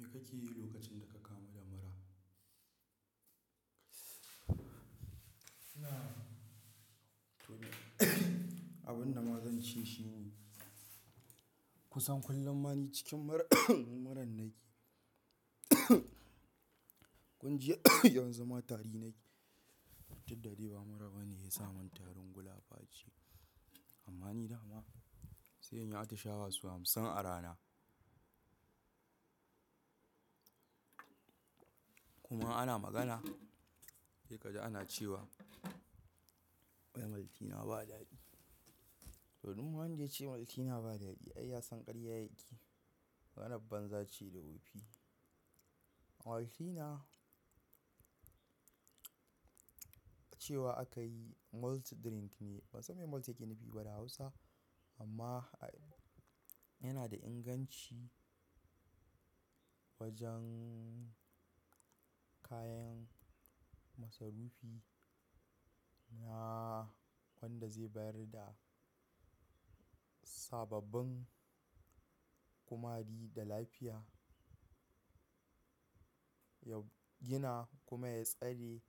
Me kake yi lokacin da ka kamu da mura? Abin da ma zan ce shi ne kusan kullum ma ni cikin mura, muran na yi. Kun ji yanzu ma tari na keyi. Duddali ba mura ba ne ya sa mun tarin gulapa ce. Amma ni dama sai in yi atishawa sau hamsin a rana. Kuma ana magana, sai ka ji ana cewa "wai Maltina ba daɗi." Tou dun wanda ya ce Maltina ba daɗi ai ya san ƙarya yake. Maganar banza ce da wofi. Maltina, cewa aka yi malt drink ne. Ba san me malt yake nufi ba da Hausa amma yana da inganci wajen kayan masarufi na wanda zai bayar da sababbin kumari da lafiya, ya gina kuma ya tsare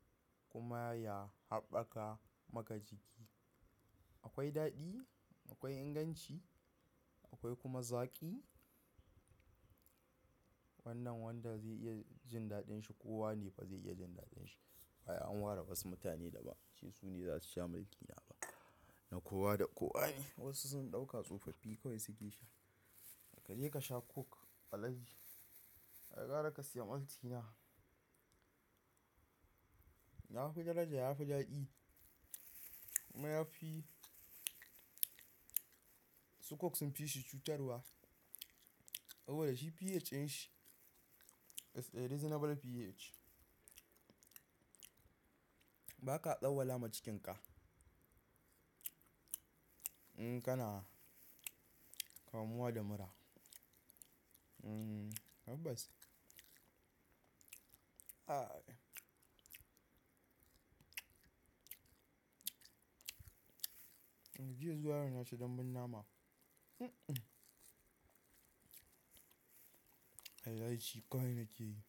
kuma ya haɓaka maka jiki. Akwai daɗi, akwai inganci, akwai kuma zaƙi. Wannan wanda zai iya jin daɗin shi kowa ne ba zai iya jin daɗin shi. Ai an ware wasu mutane da ban an ce su ne za su sha Maltina ba. Na kowa da kowa ne. Wasu sun ɗauka tsofaffi kawai suke sha. Kaje ka sha Coke alhaji, ai gara ka siyan Maltina. Ya fi daraja, ya fi daɗi kuma yafi su coke sunfi shi cutarwa saboda shi pH dashi, is a reasonable pH ba ka tsauwala ma cikin ka. In kana kamuwa da mura. Hmm, har tabbas. Ai. Jiya zuwa yau naci dan bun nama. Ai ci kawai na ke yi.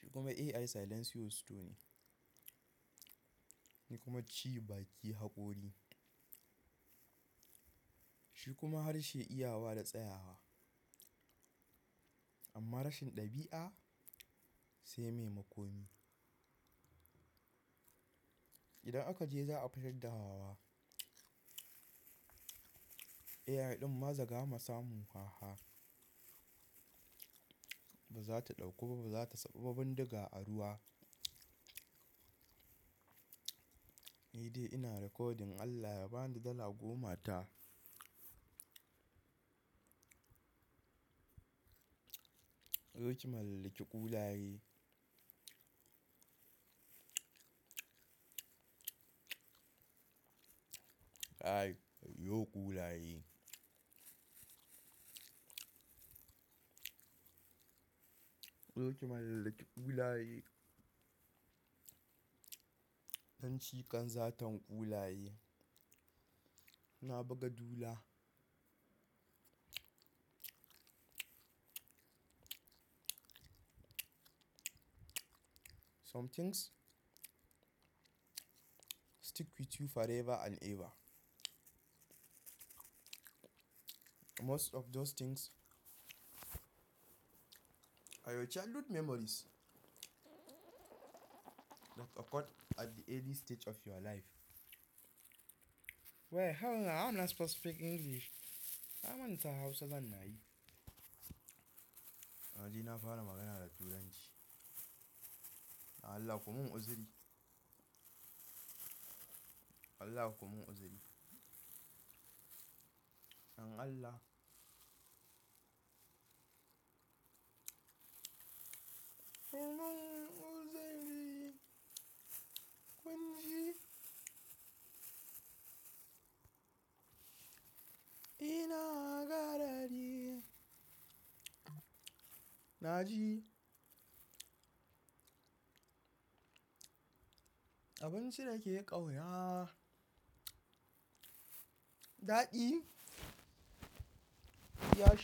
Shi kuma AI silencious store kuma ci baki haƙori. Shi kuma harshe iyawa da tsayawa. Amma rashin ɗabi'a sai mai makomi. Idan aka je za a fitar daa AI ɗin maza gama samu haha. Ba za ta ɗauko ba, ba za ta saɓuba bin diga a ruwa. Ni dai ina recording Allah ya bani dala goma ta. Zo ki mallake ƙulaye. Ai, yo ƙulaye. Zo ki mallake ƙulaye. Nan cika zan tan ƙulaye. Na buga dula. Some things stick with you forever and ever. Most of those things are your childhood memories that occurred at the early stage of your life. Wait, how am I supposed to speak English? Na manta Hausa zana yi. Naje na fara magana da Turanci. Allah kumun uziri. Allah kumun uziri. Allah. Allah un uziri. Kun ji? Ina garari. Naji. Abinci da ke ƙauya. Daɗi ya shiga.